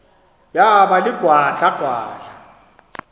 yaba ligwadla gwadla